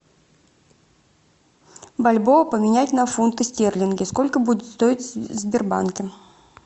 бальбоа поменять на фунты стерлинги сколько будет стоить в сбербанке